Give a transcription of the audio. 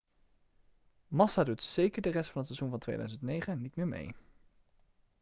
massa doet zeker de rest van het seizoen van 2009 niet meer mee